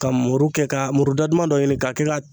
Ka muru kɛ ka muru da duman dɔ ɲini ka kɛ ka